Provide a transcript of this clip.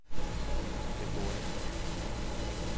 FOA